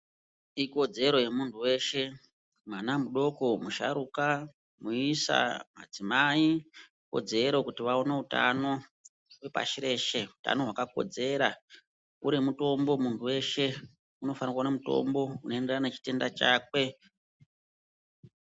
Ikodzero yemuntu weshe mwana mudoko ,muisa ,musharuka, madzimai ikodzero kuti vaone utano pashi reshe , utano hwakakodzera ,uri mutombo munhu weshe unofanire kuone mutombo unoenderane nechitenda chakwe.